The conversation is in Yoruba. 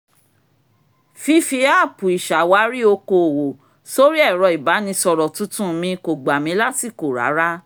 fífí áàpù ìṣàwárí okoòwò sórí ẹ̀rọ ìbánisọ̀rọ̀ tuntun mi kò gbà mí lásìkò rárá